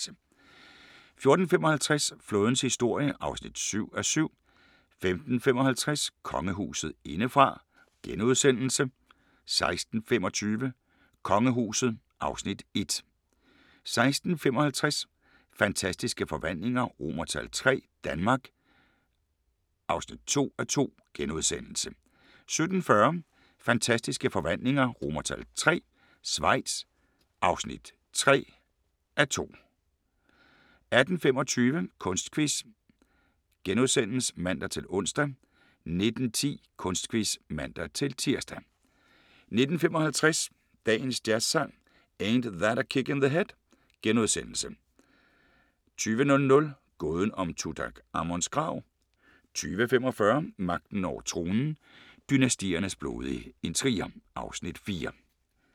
14:55: Flådens historie (7:7) 15:55: Kongehuset indefra * 16:25: Kongehuset (Afs. 1) 16:55: Fantastiske Forvandlinger III – Danmark (2:2)* 17:40: Fantastiske Forvandlinger III – Schweiz (3:2) 18:25: Kunstquiz *(man-ons) 19:10: Kunstquiz (man-tir) 19:55: Dagens Jazzsang: Ain't That a Kick in the Head * 20:00: Gåden om Tutankhamons grav 20:45: Magten over tronen – Dynastiernes blodige intriger (Afs. 4)